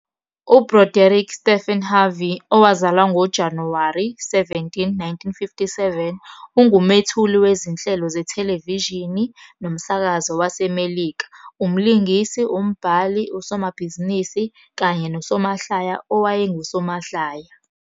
UBroderick Stephen Harvey, owazalwa ngoJanuwari 17, 1957, ungumethuli wezinhlelo zethelevishini nomsakazo waseMelika, umlingisi, umbhali, usomabhizinisi kanye nosomahlaya owayengusomahlaya.